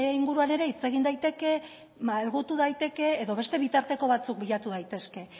inguruan ere hitz egin daiteke malgutu daiteke edo beste bitarteko batzuk bilatu daitezke